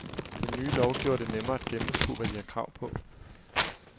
Den nye lov gjorde det nemmere at gennemskue, hvad de har krav på.